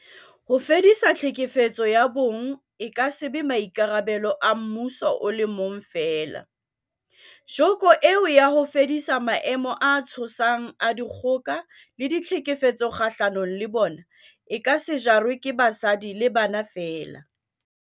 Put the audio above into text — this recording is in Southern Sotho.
Ho fedisa tlhekefetso ya bong e ka se be maikarabelo a mmuso o le mong feela, joko eo ya ho fedisa maemo a tshosang a dikgoka le tlhekefetso kgahlano le bona, e ka se jarwe ke basadi le bana feela.